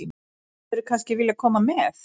Hefðirðu kannski viljað koma með?